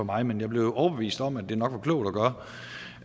mig men jeg blev overbevist om at det nok var klogt